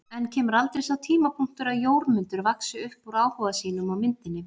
En kemur aldrei sá tímapunktur að Jórmundur vaxi upp úr áhuga sínum á myndinni?